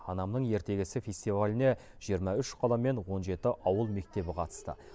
анамның ертегісі фестиваліне жиырма үш қала мен он жеті ауыл мектебі қатысты